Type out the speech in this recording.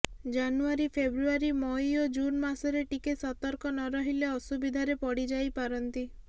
ଜାନୁଆରି ଫେବ୍ରୁଆରି ମଇ ଓ ଜୁନ୍ ମାସରେ ଟିକେ ସତର୍କ ନ ରହିଲେ ଅସୁବିଧାରେ ପଡ଼ିଯାଇପାରନ୍ତି